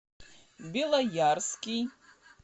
белоярский